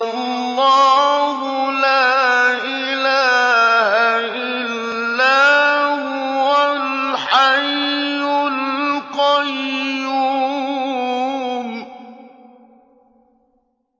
اللَّهُ لَا إِلَٰهَ إِلَّا هُوَ الْحَيُّ الْقَيُّومُ